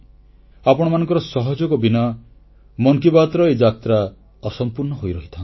ଆପଣମାନଙ୍କର ସହଯୋଗ ବିନା ମନ କି ବାତ୍ର ଏ ଯାତ୍ରା ଅସମ୍ପୂର୍ଣ୍ଣ ହୋଇ ରହିଥାନ୍ତା